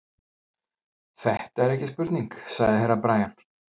Þetta er ekki spurning, sagði Herra Brian.